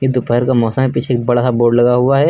ये दोपहर का मौसम है पीछे एक बड़ा सा बोर्ड लगा हुआ है।